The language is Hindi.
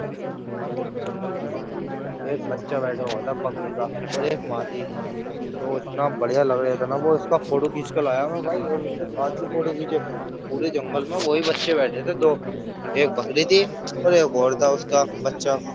और जंगल में एक बच्चा बैठा हुआ था बकरी का और एक माँ थी। वो इतना बढ़िया लगा रिहा था इसका फ़ोटो खींच के लाया भाई और उसके साथ भी फ़ोटो खींचे। पूरे जंगल में वो ही बच्चे बैठे थे दो एक बकरी थी और एक और था उसका बच्चा।